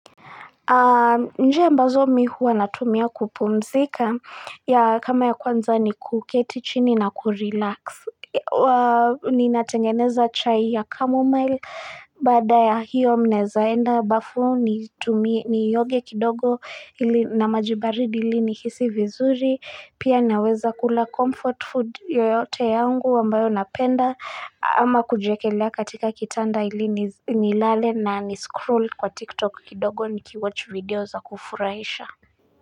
Njia mbazo mi huwa natumia kupumzika ya, kama ya kwanza ni kuketi chini na kurelax. Ni natengeneza chai ya chamomile baada ya hiyo mnazaenda bafu nitumie ni oge kidogo ili, na maji baridi ili ni hisi vizuri. Pia naweza kula comfort food yoyote yangu ambayo napenda ama kujekelea katika kitanda ili nilale na ni scroll kwa tiktok kidogo ni kiwatch video za kufuraisha.